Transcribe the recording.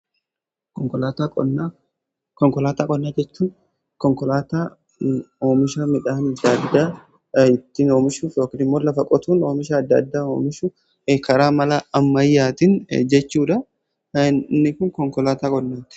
Konkolaataa qonnaa jechuun konkolaataa oomisha midhaan adda addaa ittin oomishuu yookiin immoo lafa qotuun oomisha adda addaa oomishuu karaa mala ammayyaatin jechuudha. Inni kun konkolaataa qonnaati.